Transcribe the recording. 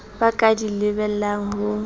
ba ka di lebellang ho